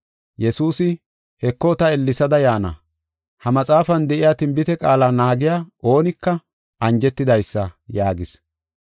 Yesuusi, “Heko ta ellesada yaana; ha maxaafan de7iya tinbite qaala naagiya oonika anjetidaysa” yaagis.